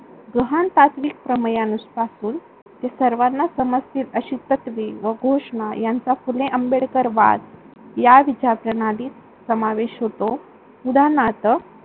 पासून सर्वांना समजतील अशी तत्वे व घोषणा यांचा फुले आंबेडकरवाद या विचार प्रणालीत समावेश होतो. उदारणार्थ